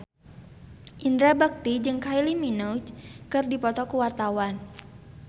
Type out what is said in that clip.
Indra Bekti jeung Kylie Minogue keur dipoto ku wartawan